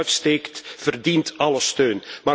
Wie zijn nek uitsteekt, verdient alle steun.